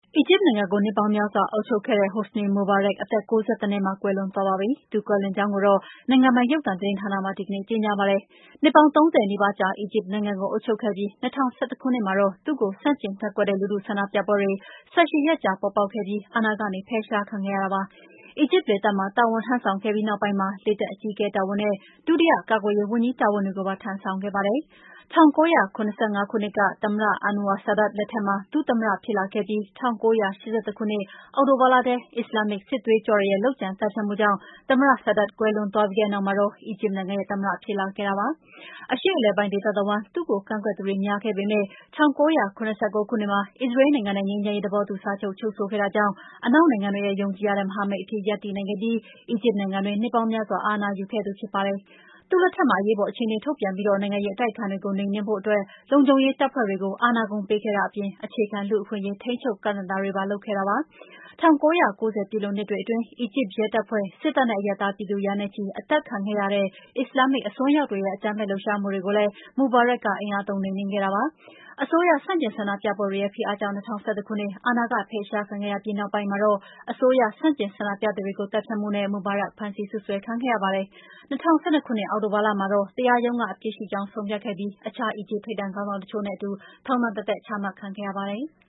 အီဂျစ်နိုင်ငံကို နှစ်ပေါင်းများစွာ အုပ်ချုပ်ခဲ့ဲ့ဲတဲ့ Hosni Mubarak အသက် ၉၁ နှစ်မှာ ကွယ်လွန်သွားပါပြီ။ သူကွယ်လွန်ကြောင်းကိုတော့ နိုင်ငံပိုင် ရုပ်သံသတင်းမှာ ဒီကနေ့ ကြေညာပါတယ်။ နှစ်ပေါင်း ၃၀ နီးပါးကြား အီဂျစ်နိုင်ငံကို အုပ်ချုပ်ခဲ့ပြီး ၂၀၁၁ ခုနှစ်မှာတော့ သူ့ကို ဆန့်ကျင်ကန့်ကွက်တဲ့ လူထုဆန္ဒပြပွဲတွေ ၁၈ ရက်ကြာ ပေါ်ပေါက်ခဲ့ပြီး အာဏာကနေ ဖယ်ရှားခံခဲ့ရတာ ဖြစ်ပါတယ်။ အီဂျစ်လေတပ်မှာ တာဝန်ထမ်းဆောင်ခဲ့ပြီး နောက်ပိုင်းမှာ လေတပ်အကြီးအကဲ တာဝန်နဲ့ ဒုတိယ ကာကွယ်ရေးဝန်ကြီး တာဝန်တွေကိုပါ ထမ်းဆောင်ခဲ့ပါတယ်။ ၁၉၇၅ ခုနှစ် သမ္မတ Anwar Sadat လက်ထက်မှာ ဒုသမ္မတ ဖြစ်လာခဲ့ပြီး ၁၉၈၁ ခုနှစ် အောက်တိုဘာလထဲ အစ္စလာမ်မစ် စစ်သွေးကြွတွေရဲ့ လုပ်ကြံသတ်ဖြတ်မှုကြောင့် သမ္မတ Sadat ကွယ်လွန်သွားပြီးနောက်မှာတော့ အီဂျစ်နိုင်ငံရဲ့ သမ္မတ ဖြစ်လာခဲ့ပါတယ်။ အရှေ့အလယ်ပိုင်း ဒေသတဝှမ်း သူ့ကို ကန့်ကွက်သူတွေ များခဲ့ပေမဲ့ ၁၉၇၉ ခုနှစ်မှာ အစ္စရေးနိုင်ငံနဲ့ ငြိမ်းချမ်းရေးသဘောတူ စာချုပ် ချုပ်ဆိုခဲ့တာကြောင့် အနောက်နိုင်ငံတွေရဲ့ ယုံကြည်ရတဲ့မဟာမိတ်အဖြစ် ရပ်တည်နိုင်ခဲ့ပြီး အီဂျစ်နိုင်ငံတွင်း နှစ်ပေါင်းများစွာ အာဏာယူခဲ့သူဖြစ်ပါတယ်။ သူ့လက်ထက်မှာ အရေးပေါ်အခြေအနေ ထုတ်ပြန်ပြီး နိုင်ငံရေး အတိုက်အခံတွေကို နှိမ်နင်းဖို့အတွက် လုံခြုံရေးတပ်ဖွဲ့တွေကို အာဏာကုန် ပေးခဲ့တာအပြင် အခြေခံ လူ့အခွင့်အရေး ထိန်းချုပ် ကန့်သတ်တာတွေ လုပ်ခဲ့တာပါ။ ၁၉၉၀ ပြည့်လွန်နှစ်တွေ အတွင်း အီဂျစ်ရဲတပ်ဖွဲ့၊ စစ်တပ်နဲ့ အရပ်သားပြည်သူ ရာနဲ့ချီ အသတ်ခံခဲ့ရတဲ့ အစ္စလာမ်မစ်အစွန်းရောက်တွေရဲ့ အကြမ်းဖက် လှုပ်ရှားမှုတွေကိုလည်း မူဘာရက်က အင်အားသုံး နှိမ်နင်းခဲ့ပါတယ်။ အစိုးဆန့်ကျင်ဆန္ဒပြပွဲတွေရဲ့ ဖိအားကြောင့် ၂၀၁၁ ခုနှစ် အာဏာကဖယ်ရှားခံခဲ့ရပြီး နောက်ပိုင်းမှာတော့ အစိုးရဆန့်ကျင် ဆန္ဒပြသူတွေကို သတ်ဖြတ်မှုနဲ့ မူဘာရက် ဖမ်းဆီး စွပ်စွဲခံခဲ့ရပါတယ်။ ၂၀၁၂ ခုနှစ်အောက်တိုလာလမှာတော့ တရားရုံးက အပြစ်ရှိကြောင်း ဆုံးဖြတ်ခဲ့ပြီ အခြား အီဂျစ် ထိပ်တန်းခေါင်းဆောင်တချို့နဲ့အတူ ထောင်တသက် ချမှတ်ခံခဲ့ရပါတယ်။